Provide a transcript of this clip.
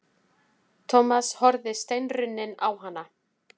Thomas horfði steinrunninn á hana.